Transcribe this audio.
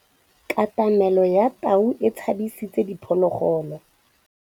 Katamêlô ya tau e tshabisitse diphôlôgôlô.